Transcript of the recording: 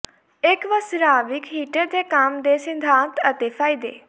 ਇੱਕ ਵਸਰਾਵਿਕ ਹੀਟਰ ਦੇ ਕੰਮ ਦੇ ਸਿਧਾਂਤ ਅਤੇ ਫਾਇਦੇ